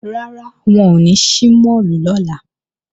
Rárá, wọn ò ní ṣí máàlù lọ́la